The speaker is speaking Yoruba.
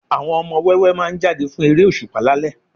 Àwọn ọmọ wẹ́wẹ́ máa jáde fún eré òṣùpá lálẹ́